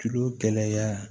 Kilo kelenya